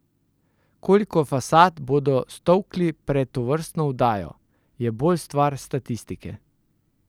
Koliko fasad bodo stolkli pred tovrstno vdajo, je bolj stvar statistike.